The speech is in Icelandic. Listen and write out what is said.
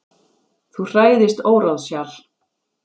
Þú hræðist óráðshjal.